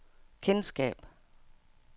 kendskab